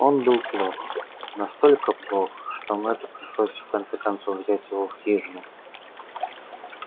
он был плох настолько плох что мэтту пришлось в конце концов взять его в хижину